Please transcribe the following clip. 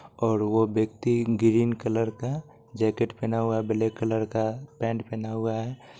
और वो व्यक्ति ग्रीन कलर का जैकेट पहना हुआ है ब्लैक कलर का पेंट पेहना हुआ है ।